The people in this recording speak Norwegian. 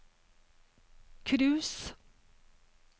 cruise